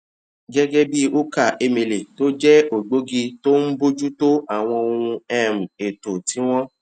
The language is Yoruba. gégé bí ukah emele tó jẹ ògbógi tó ń bójú tó àwọn ohun um èlò tí wón